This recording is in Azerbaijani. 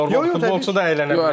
Yəni normal futbolçu da əylənə bilər.